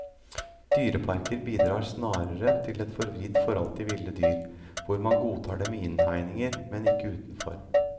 Dyreparker bidrar snarere til et forvridd forhold til ville dyr, hvor man godtar dem i innhegninger, men ikke utenfor.